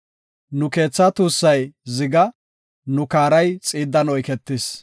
Nu keethaa tuussay ziga; nu kaaray xiiddan oyketis.